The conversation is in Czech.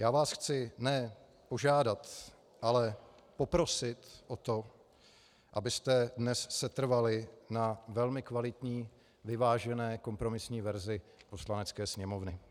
Já vás chci ne požádat, ale poprosit o to, abyste dnes setrvali na velmi kvalitní vyvážené kompromisní verzi Poslanecké sněmovny.